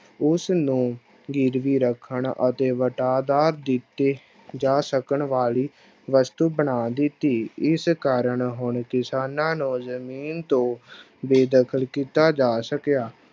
ਉਸ ਨੂੰ ਗਿਰਵੀ ਰੱਖਣ ਅਤੇ ਦਿੱਤੇ ਜਾ ਸਕਣ ਵਾਲੀ ਵਸਤੂ ਬਣਾ ਦਿੱਤੀ, ਇਸ ਕਾਰਨ ਹੁਣ ਕਿਸਾਨਾਂ ਨੂੰ ਜ਼ਮੀਨ ਤੋਂ ਬੇਦਖਲ ਕੀਤਾ ਜਾ ਸਕਿਆ।